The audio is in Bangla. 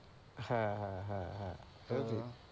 হ্যাঁ হ্যাঁ হ্যাঁ, হ্যাঁ এটা ঠিক।